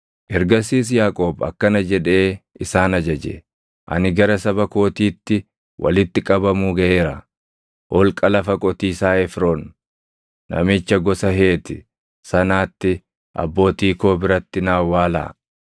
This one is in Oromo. Ergasiis Yaaqoob akkana jedhee isaan ajaje; “Ani gara saba kootiitti walitti qabamuu gaʼeera; holqa lafa qotiisaa Efroon namicha gosa Heeti sanaatti abbootii koo biratti na awwaalaa.